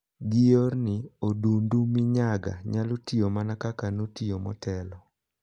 Gi yorni, odundu minyaga nyalo tiyo mana kaka notiyo motelo.